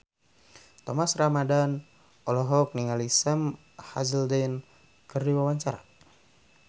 Thomas Ramdhan olohok ningali Sam Hazeldine keur diwawancara